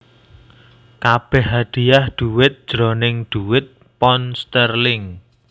Kabèh hadiah dhuwit jroning dhuwit pound sterling